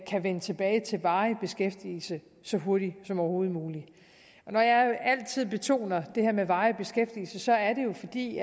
vende tilbage til varig beskæftigelse så hurtigt som overhovedet muligt når jeg altid betoner det her med varig beskæftigelse så er det jo fordi